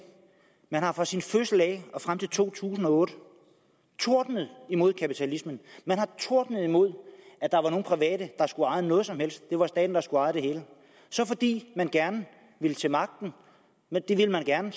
man har fra sin fødsel og frem til to tusind og otte tordnet imod kapitalismen man har tordnet imod at der var nogen private der skulle eje noget som helst det var staten der skulle eje det hele så fordi man gerne vil til magten det vil man gerne